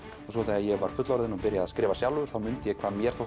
og svo þegar ég var fullorðinn og byrjaði að skrifa sjálfur þá mundi ég hvað mér þótti